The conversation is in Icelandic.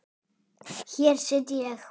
Hér sit ég.